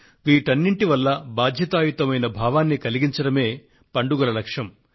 వీటన్నింటి పట్ల బాధ్యతాయుతమైన భావాన్ని కలిగించడమే పండుగల లక్ష్యం